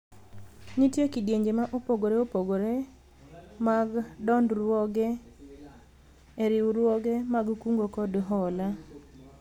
nitie kidienje ma opogore opogore mag dondruoge e riwruoge mag kungo kod hola